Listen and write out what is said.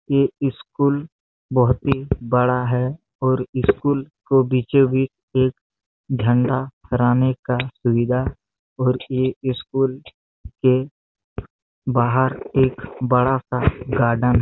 ये स्कुल बहुत ही बड़ा है और स्कुल को बीचो बीच एक झंडा फहराने का सुविधा और एक स्कुल के बाहर एक बड़ा सा गार्डन --